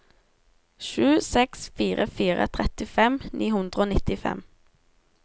sju seks fire fire trettifem ni hundre og nittifem